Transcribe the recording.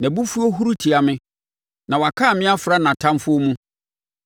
Nʼabufuo huru tia me; na wakan me afra nʼatamfoɔ mu.